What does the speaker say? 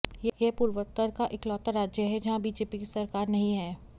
यह पूर्वोत्तर का इकलौता राज्य है जहां बीजेपी की सरकार नहीं है